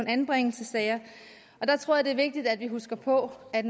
anbringelsessager jeg tror at det er vigtigt at vi husker på at